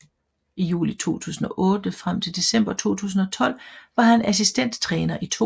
I juli 2008 frem til december 2012 var han assistenttræner i 2